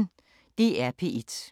DR P1